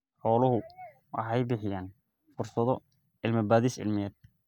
Xooluhu waxay bixiyaan fursado cilmi-baadhis cilmiyeed.